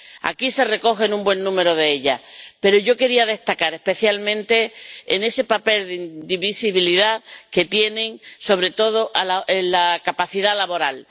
Aquí se recogen un buen número de ellas, pero yo quería destacar especialmente ese papel de invisibilidad que tienen sobre todo en la capacidad laboral.